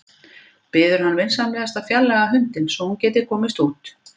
Biður hann vinsamlegast að fjarlægja hundinn svo að hún geti komist út.